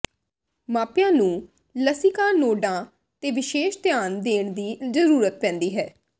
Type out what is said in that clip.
ਮਾਪਿਆਂ ਨੂੰ ਲਸਿਕਾ ਨੋਡਾਂ ਤੇ ਵਿਸ਼ੇਸ਼ ਧਿਆਨ ਦੇਣ ਦੀ ਜ਼ਰੂਰਤ ਪੈਂਦੀ ਹੈ